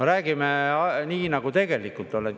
Räägime nii, nagu tegelikult on.